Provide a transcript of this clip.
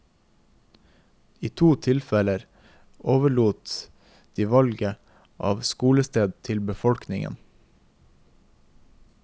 I to tilfeller overlot de valget av skolested til befolkningen.